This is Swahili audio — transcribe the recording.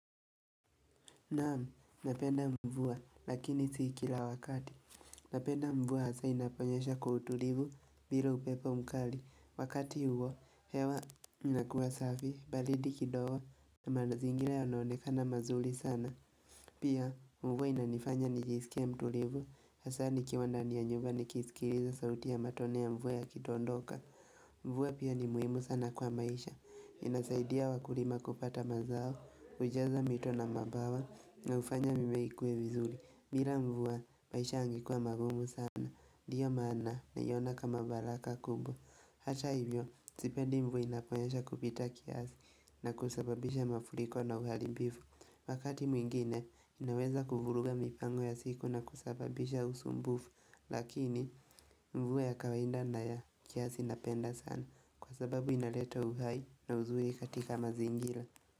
Naam, napenda mvua, lakini si kila wakati. Napenda mvua hasa inaponyeesha kwa utulivu, bila upepo mkali. Wakati huo, hewa inakuwa safi, baridi kidogo, na mazingira yanaonekana mazuri sana. Pia, mvua inanifanya nijisikie mtulivu, hasa nikiwa ndani ya nyumba nikisikiliza sauti ya matone ya mvua yakitondoka. Mvua pia ni muhimu sana kwa maisha. Inasaidia wakulima kupata mazao, hujaza mito na mabawa na hufanya mimea ikuwe vizuri bila mvua, maisha yangekuwa magumu sana, ndio maana naiona kama baraka kubwa Hata hivyo, sipendi mvua inaponyesha kupita kiasi na kusababisha mafuriko na uharibifu Wakati mwingine, inaweza kuvuruga mipango ya siku na kusababisha usumbufu Lakini mvua ya kawaida na ya kiasi napenda sana kwa sababu inaleta uhai na uzuri katika mazingira.